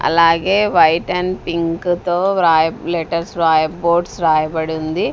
అలాగే white and pink తో వ్రాయ్ లెటర్స్ వ్రాయ్ వోర్డ్స్ రాయబడింది.